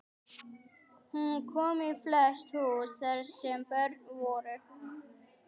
Hún kom í flest hús þar sem börn voru.